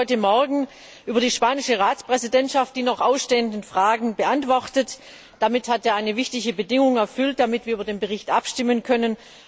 Der Rat hat heute Morgen über die spanische Ratspräsidentschaft die noch ausstehenden Fragen beantwortet. Damit hat er eine wichtige Bedingung erfüllt, damit wir über den Bericht abstimmen können.